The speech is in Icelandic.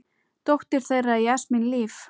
Dóttir þeirra er Jasmín Líf.